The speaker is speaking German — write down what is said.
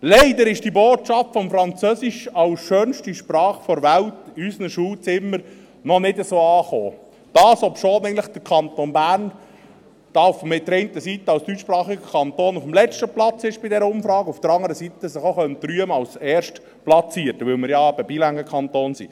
Leider ist die Botschaft des Französischen als schönster Sprache der Welt in unseren Schulzimmern noch nicht wirklich angekommen, obwohl der Kanton Bern, der auf der einen Seite als deutschsprachiger Kanton bei dieser Umfrage auf dem letzten Platz ist, sich auf der anderen Seite auch als Erstplatzierten rühmen könnte, weil wir ja eben ein bilinguer Kanton sind.